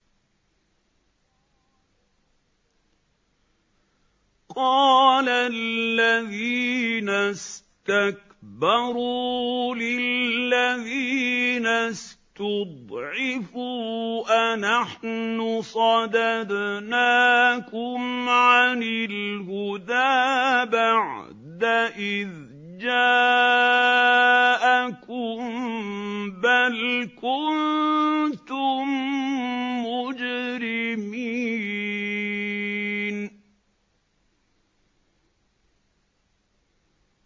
قَالَ الَّذِينَ اسْتَكْبَرُوا لِلَّذِينَ اسْتُضْعِفُوا أَنَحْنُ صَدَدْنَاكُمْ عَنِ الْهُدَىٰ بَعْدَ إِذْ جَاءَكُم ۖ بَلْ كُنتُم مُّجْرِمِينَ